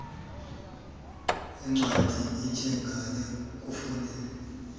kwencwadi enjengale kufune